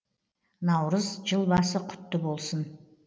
наурыз жыл басы құтты болсын